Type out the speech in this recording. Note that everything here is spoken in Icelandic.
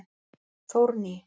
Þórný